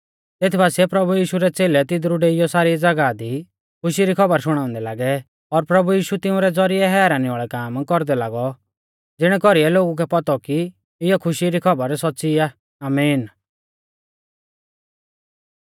तेत बासिऐ प्रभु यीशु रै च़ेलै तिदरु डेइयौ सारी ज़ागाह दी खुशी री खौबर शुणाउंदै लागै तैबै प्रभु यीशु तिउंरै ज़ौरिऐ हैरानी वाल़ै काम कौरदै लागौ ज़िणै कौरीऐ लोगु कै पौतौ कि इयौ खुशी री खौबर सौच़्च़ौ आ आमीन